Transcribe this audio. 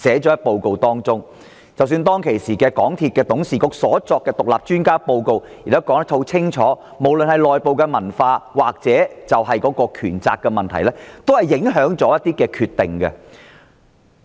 即使當時港鐵公司董事局的獨立專家報告，亦指出了無論是公司內部文化或權責問題，均影響了一些決定。